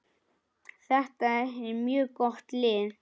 Þetta er mjög gott lið.